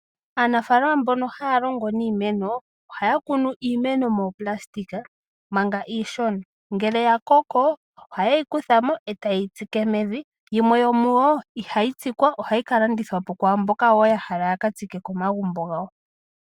Aanafalama mbono haya longo niimeno ohaya kunu iimeno moonayilona manga iishona, ngele ya koko ohaye yi kutha mo ndele taye yi tsike mevi. Yimwe yomuyo ihayi tsikwa, ohayi ka landithwa kwaamboka wo ya hala ya ka tsike komagumbo gawo.